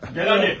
Gəl hadi, gəl!